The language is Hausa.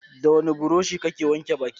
Da wani buroshi kake wanke baki?